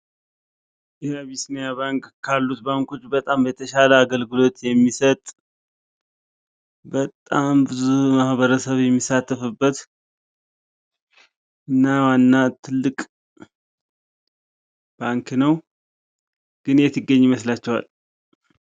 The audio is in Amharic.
ይህ አቢሲኒያ ባንክ ካሉት ባንኮች በጣም የተሻለ አገልግሎት የሚሠጥ በጣም ብዙ ማህበረሰብ የሚሳተፍበት ነው እና ትልቅ ባንክ ነው የት የሚገኝ ይመስላቸዋል?